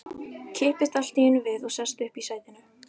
Kippist allt í einu við og sest upp í sætinu.